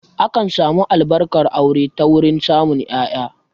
Akan samu Albarkar aure ta wurin samun ƴaƴa